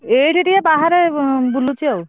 ଏଇଠି ଟିକେ ବାହାରେ ବୁଲୁଛି ଆଉ।